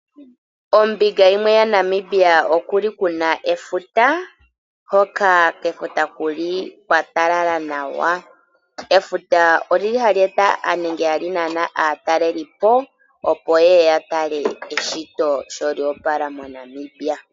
Ombinga yimwe yaNamibia okuli kuna efuta hoka kefuta kuli kwatalala nawa. Efuta olili hali eta aatalelipo opo yeye ya tale eshito sho lyopala moNamibia.